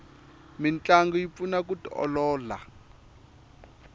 mintlangu yi pfuna ku tiolola